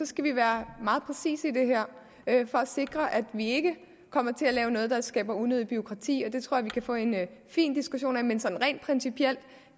skal vi være meget præcise i det her for at sikre at vi ikke kommer til at lave noget der skaber unødigt bureaukrati og det tror jeg at vi kan få en fin diskussion om men sådan rent principielt